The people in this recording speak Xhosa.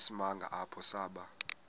isimanga apho saba